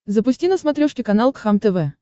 запусти на смотрешке канал кхлм тв